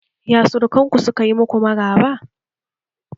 Ya surukanku sukayi muku maraba?